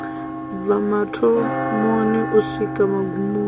bva mathomoni u swika magumoni